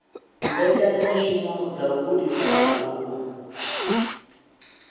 mbekanyamishumo dza u gudisa vhaaluwa